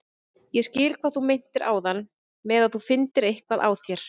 Kona rithöfundarins, Edith, sem var Gyðingur í aðra ættina, vann einkum fyrir heimilinu.